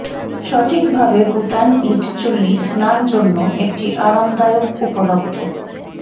সঠিকভাবে গুটান ইট চুল্লি স্নান জন্য একটি আরামদায়ক উপলব্ধ